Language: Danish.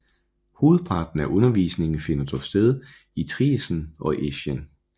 Hovedparten af undervisningen finder dog sted i Triesen og Eschen